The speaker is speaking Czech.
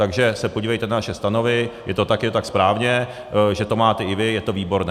Takže se podívejte na naše stanovy, je to také tak správně, že to máte i vy, je to výborné.